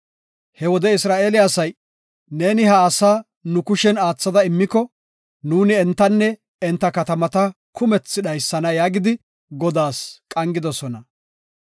He wode Isra7eele asay, “Neeni ha asaa nu kushen aathada immiko, nuuni entanne enta katamata kumethi dhaysana” yaagidi Godaas qangidosona.